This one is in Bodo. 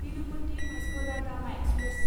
Tirupati Vasco da Gama express